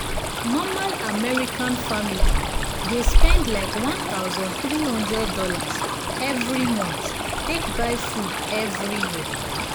normal american family dey spend likeone thousand three hundred dollarsevery month take buy food every year